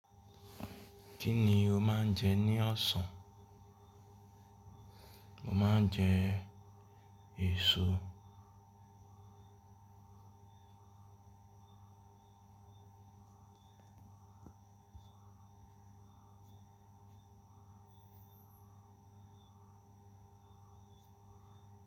Kí ni o máa ń jẹ ní ọ̀sán? Mo máa ń jẹ èso.